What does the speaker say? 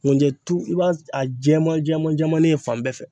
Nkunjɛtu i b'a a jɛman jɛman jɛmanin ye fan bɛɛ fɛ.